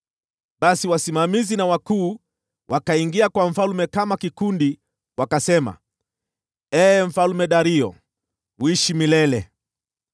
Basi wasimamizi na wakuu wakaingia kwa mfalme kama kikundi wakasema, “Ee Mfalme Dario, uishi milele!